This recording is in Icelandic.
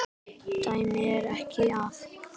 Dæmi er tekið af